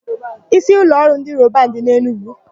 Ísíụlọọrụ ndị Robanu dị n'Enugwu.